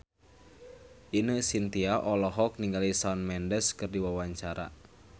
Ine Shintya olohok ningali Shawn Mendes keur diwawancara